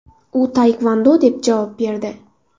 U taekvondo deb javob berdi.